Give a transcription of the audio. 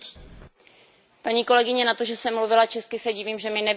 Paní kolegyně, na to, že jsem mluvila česky, se divím, že mi nerozumíte.